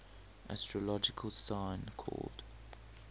astrological sign called